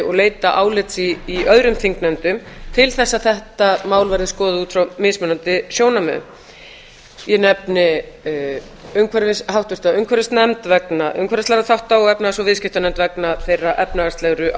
og leita álits í öðrum þingnefndum til að þetta mál verði skoðað út frá mismunandi sjónarmiðum ég nefni háttvirta umhverfisnefnd vegna umhverfislegra þátta og efnahags og viðskiptanefnd vegna þeirra efnahagslegu